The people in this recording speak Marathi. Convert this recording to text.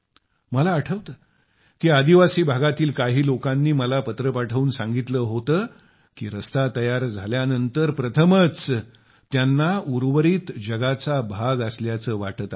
मला आठवते की आदिवासी भागातील काही लोकांनी मला हा पत्र पाठवून सांगितले होते की रस्ता तयार झाल्यानंतर प्रथमच त्यांना उर्वरित जगाचा भाग असल्याचे वाटत आहे